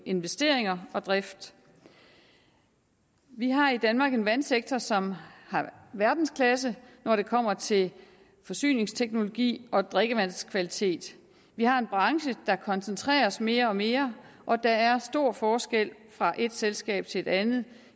investeringer og drift vi har i danmark en vandsektor som har verdensklasse når det kommer til forsyningsteknologi og drikkevandskvalitet vi har en branche der koncentreres mere og mere og der er stor forskel fra et selskab til et andet